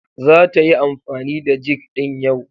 Zata yi amfani da jig din yau.